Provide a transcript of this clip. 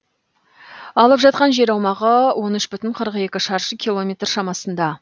алып жатқан жер аумағы он үш бүтін қырық екі шаршы километр шамасында